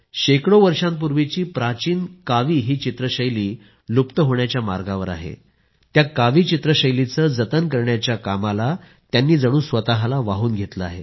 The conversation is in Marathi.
शेकडो वर्षांपूर्वीची प्राचीन कावी ही चित्रशैली लुप्त होण्याच्या मार्गावर आहे त्या कावी चित्रशैलीचं जतन करण्याच्या कामाला त्यांनी जणू स्वतःला वाहून घेतलं आहे